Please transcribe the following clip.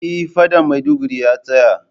Eh faɗan Maiduguri ya tsaya